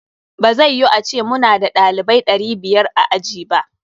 Ba zai yu ace muna da ɗalibaui ɗari biyar a aji ba.